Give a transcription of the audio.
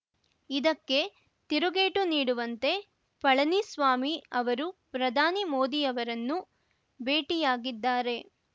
ಇದಕ್ಕೆ ತಿರುಗೇಟು ನೀಡುವಂತೆ ಪಳನಿಸ್ವಾಮಿ ಅವರು ಪ್ರಧಾನಿ ಮೋದಿ ಅವರನ್ನು ಭೇಟಿಯಾಗಿದ್ದಾರೆ